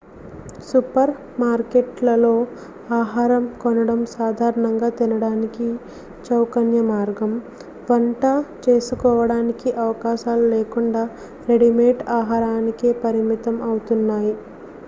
super మార్కెట్లలో ఆహారం కొనడం సాధారణంగా తినడానికి చౌకైన మార్గం వంట చేసుకోడానికి అవకాశాలు లేకుండా రెడీమేడ్ ఆహారానికే పరిమితం అవుతున్నాయి